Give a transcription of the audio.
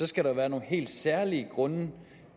skal der være nogle helt særlige grunde